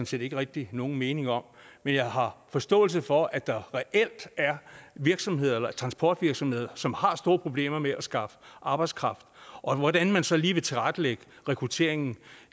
set ikke rigtig nogen mening om men jeg har forståelse for at der reelt er transportvirksomheder som har store problemer med at skaffe arbejdskraft hvordan man så lige vil tilrettelægge rekrutteringen